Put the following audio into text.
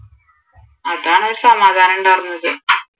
അതാണ് ഒരു സമാധാനം ഉണ്ടായിര്ന്നത്